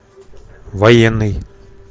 военный